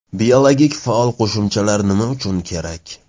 Biologik faol qo‘shimchalar nima uchun kerak?